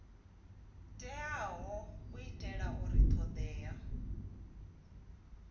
teaho u itela uri thodea